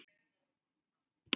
Við munum sakna hans.